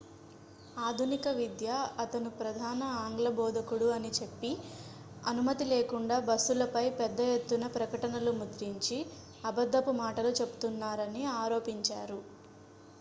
ఆధునిక విద్య అతను ప్రధాన ఆంగ్ల బోధకుడు అని చెప్పి అనుమతి లేకుండా బస్సులపై పెద్ద ఎత్తున ప్రకటనలు ముద్రించి అబద్దపు మాటలు చెబుతున్నారని ఆరోపించారు